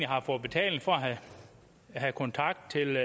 har fået betaling for at have kontakt til